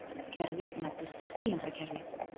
Slíkt kerfi nefnist tvíundakerfi.